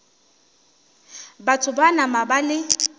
batho ba nama ba le